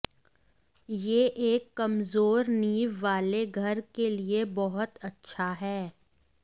यह एक कमजोर नींव वाले घर के लिए बहुत अच्छा है